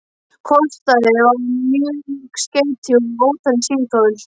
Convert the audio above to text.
Kostaði það mörg skeyti og ótalin símtöl.